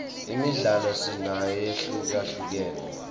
imidlalo sinayo lehlukahlukene